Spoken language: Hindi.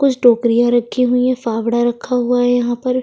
कुछ टोकरियाँ रखी हुई है फावड़ा रखा हुआ है यहाँ पर --